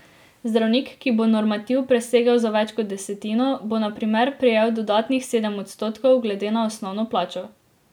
Zdravnik, ki bo normativ presegel za več kot desetino, bo na primer prejel dodatnih sedem odstotkov glede na osnovno plačo.